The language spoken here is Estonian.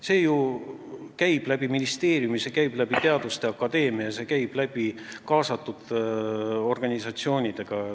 See käib läbi ministeeriumi, see käib läbi teaduste akadeemia, see käib läbi kaasatud organisatsioonide.